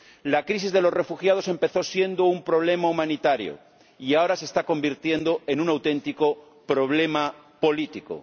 La crisis de los refugiados empezó siendo un problema humanitario y ahora se está convirtiendo en un auténtico problema político.